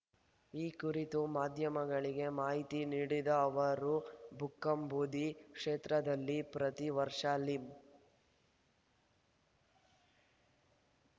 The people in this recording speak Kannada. ಈ ಕುರಿತು ಮಾಧ್ಯಮಗಳಿಗೆ ಮಾಹಿತಿ ನೀಡಿದ ಅವರು ಬುಕ್ಕಾಂಬುದಿ ಕ್ಷೇತ್ರದಲ್ಲಿ ಪ್ರತಿ ವರ್ಷ ಲಿಂ